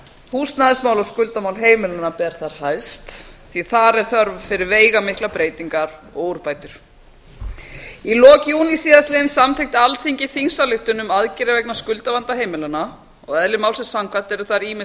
húsnæðismál og skuldamál heimilanna ber þar hæst því að þar er þörf fyrir veigamiklar breytingar og úrbætur í lok júní síðastliðinn samþykkti alþingi þingsályktun um aðgerðir vegna skuldavanda heimilanna og eðli málsins samkvæmt eru þar ýmis